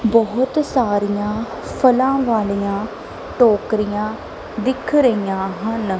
ਬਹੁਤ ਸਾਰੀਆਂ ਫਲਾਂ ਵਾਲੀਆਂ ਟੋਕਰੀਆਂ ਦਿਖ ਰਹੀਆਂ ਹਨ।